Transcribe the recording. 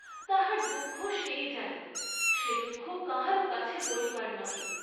তাহার দুঃখ সেই জানে, সে দুঃখ কাহারও কাছে বলিবার নহে।